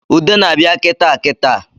Ude na-abịa kitaa kitaa